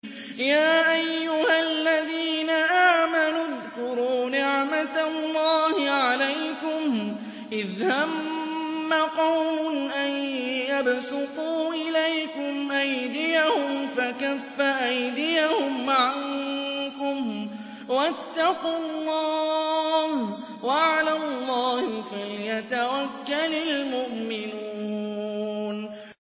يَا أَيُّهَا الَّذِينَ آمَنُوا اذْكُرُوا نِعْمَتَ اللَّهِ عَلَيْكُمْ إِذْ هَمَّ قَوْمٌ أَن يَبْسُطُوا إِلَيْكُمْ أَيْدِيَهُمْ فَكَفَّ أَيْدِيَهُمْ عَنكُمْ ۖ وَاتَّقُوا اللَّهَ ۚ وَعَلَى اللَّهِ فَلْيَتَوَكَّلِ الْمُؤْمِنُونَ